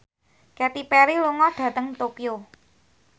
Katy Perry lunga dhateng Tokyo